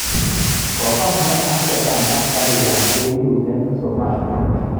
Kofamian Al-Shabab askarik ab AU eng Somalia